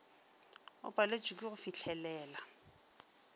o paletšwe ke go fihlelela